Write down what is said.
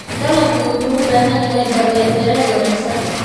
Dalaggu wuxuu u baahan yahay daryeel beereed wanaagsan.